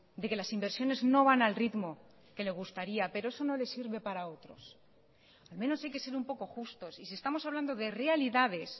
de que las inversiones no van al ritmo que le gustaría pero eso no le sirve para otros al menos hay que ser un poco justos y si estamos hablando de realidades